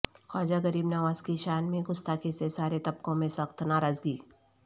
خواجہ غریب نواز کی شان میں گستاخی سے سارے طبقوں میں سخت ناراضگی